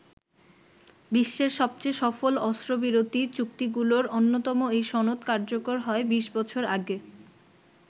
বিশ্বের সবচেয়ে সফল অস্ত্রবিরতি চুক্তিগুলোর অন্যতম এই সনদ কার্যকর হয় বিশ বছর আগে।